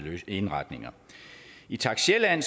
indretninger i takst sjælland